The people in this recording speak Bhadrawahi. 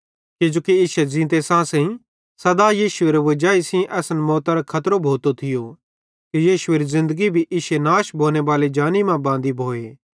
किजोकि इश्शे ज़ींते सांसेइं सदा यीशुएरे वजाई सेइं असन मौतरे खतरो भोतो थियो कि यीशुएरी ज़िन्दगी भी इश्शे नाश भोनेबाले जानी मां बांदी भोए